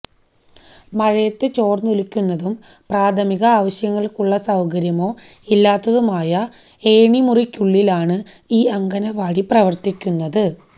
മഴയത്ത് ചോര്ന്നൊലിക്കുന്നതും പ്രാഥമിക ആവശ്യങ്ങള്ക്കുള്ള സൌകര്യമോ ഇല്ലാതതുമായ ഏണിമുറിക്കുള്ളിലാണ് ഈ അംഗന്വാടി പ്രവര്ത്തിക്കുന്നത്